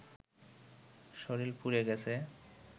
শরীর পুড়ে গেছে